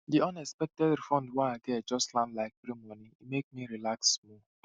di unexpected refund wey i get just land like free moni e make me relax small